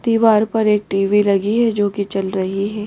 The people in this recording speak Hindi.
दीवार पर एक टी_वी लगी है जो कि चल रही है ।